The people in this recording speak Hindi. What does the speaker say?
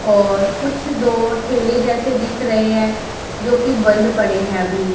और कुछ दो ठेले जैसे दिख रहे है जो कि बंद पड़े है अभी।